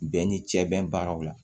Bɛɛ ni cɛ bɛn baaraw la